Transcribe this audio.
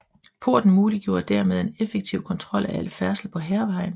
Porten muliggjorde dermed en effektiv kontrol af al færdsel på Hærvejen